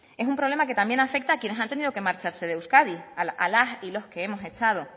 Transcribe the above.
es un problema que también afecta a quienes han tenido que marcharse de euskadi a las y a los que hemos echado